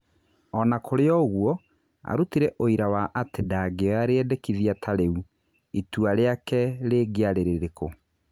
Ona kũrĩ o-ũguo, arutire ũira wa atĩ ndangĩoya rĩendekithia tarĩu, ĩtua rĩake rĩake rĩngĩarĩ rĩrĩkũ.